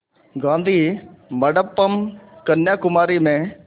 गाधी मंडपम् कन्याकुमारी में